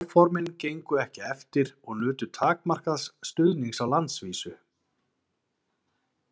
Áformin gengu ekki eftir og nutu takmarkaðs stuðnings á landsvísu.